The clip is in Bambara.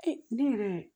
ne yɛrɛ